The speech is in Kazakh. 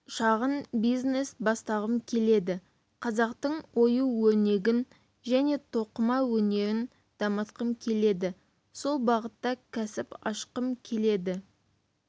шағын бизнес бастағым келеді қазақтың ою-өрнегін және тоқыма өнерін дамытқым келеді сол бағытта кәсіп ашқым келеді